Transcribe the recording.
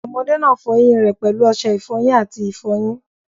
Ọmọdé náà fọọ eyín rẹ̀ pẹ̀lú ọṣẹ ìfọyín àti ìfọyín